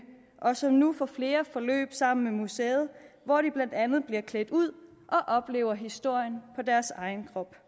og som nu får flere forløb sammen med museet hvor de blandt andet bliver klædt ud og oplever historien på deres egen krop